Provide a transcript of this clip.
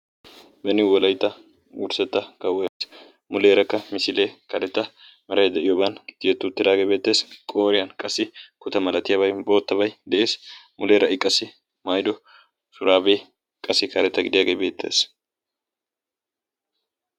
Benni wolaytta wurssatta kaawoaais muleerakka misiilee kareta marai de'iyooban tiyetti uttiraagee beettees. qooriyan qasi kuta malatiyaabai boottabai de'ees. muleera qassi mayro shuraabee qasi kareta gidiyaagee beettees.